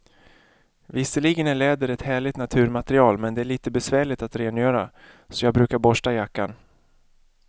Visserligen är läder ett härligt naturmaterial, men det är lite besvärligt att rengöra, så jag brukar borsta jackan.